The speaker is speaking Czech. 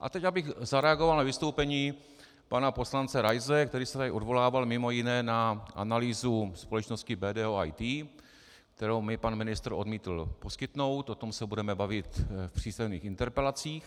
A teď abych zareagoval na vystoupení pana poslance Raise, který se tady odvolával mimo jiné na analýzu společnosti BDO IT, kterou mi pan ministr odmítl poskytnout, o tom se budeme bavit v písemných interpelacích.